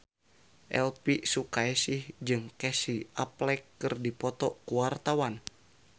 Elvi Sukaesih jeung Casey Affleck keur dipoto ku wartawan